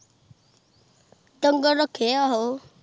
ਡੰਗਰ ਰਾਖੇ ਆਹੋ